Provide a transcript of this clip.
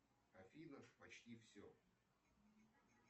афина почти все